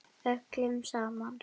Öllum sama.